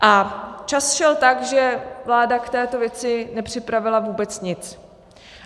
A čas šel tak, že vláda k této věci nepřipravila vůbec nic.